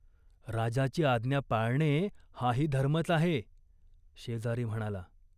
राजाची आज्ञा पाळणे हाही धर्मच आहे !" शेजारी म्हणाला.